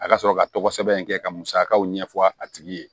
A ka sɔrɔ ka tɔgɔ sɛbɛn in kɛ ka musakaw ɲɛfɔ a tigi ye